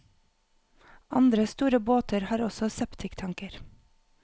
Andre store båter har også septiktanker.